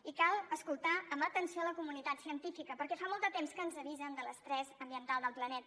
i cal escoltar amb atenció la comunitat científica perquè fa molt de temps que ens avisen de l’estrès ambiental del planeta